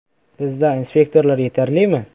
– Bizda inspektorlar yetarlimi?